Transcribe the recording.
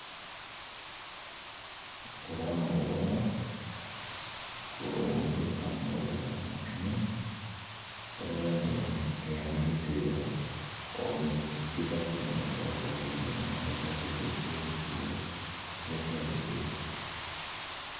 Gũkorwo na ũrũmwe, mũgĩka maũndũ manyu , gũkorwo mũkĩheana gĩtĩo nĩgetha kila mũndũ agakorwo akĩigua nĩahetwo gĩtĩo kĩrĩa kĩagĩrĩire.